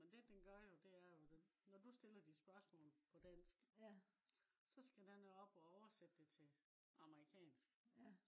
men den gør jo det er jo når du stiller dit spørgsmål på dansk så skal den jo op og oversætte det til amerikansk